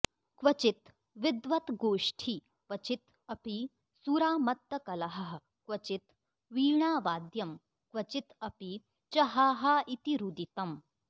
क्वचित् विद्वद्गोष्ठी क्वचित् अपि सुरामत्तकलहः क्वचित् वीणावाद्यं क्वचित् अपि च हा हा इति रुदितम्